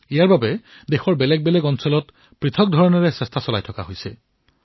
ইয়াৰ বাবে দেশৰ বিভিন্ন অংশত বিভিন্ন প্ৰকাৰৰ প্ৰয়াস কৰা হৈছে